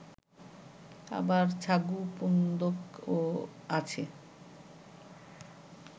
আবার ছাগু পুন্দক ও আছে